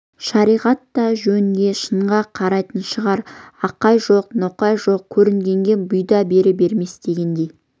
шариғат та жөнге шынға қарайтын шығар ақай жоқ ноқай жоқ көрінгенге бұйда бере бермес дегендей